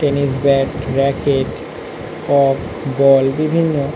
tennis bat racket কক ball বিভিন্ন--